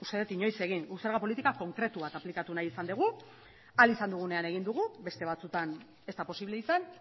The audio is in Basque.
dut inoiz egin guk zerga politika konkretua aplikatu nahi izan dugu ahal izan dugunean egin dugu beste batzuetan ez da posible izan